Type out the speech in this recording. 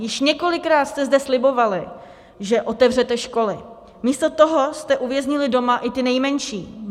Již několikrát jste zde slibovali, že otevřete školy, místo toho jste uvěznili doma i ty nejmenší.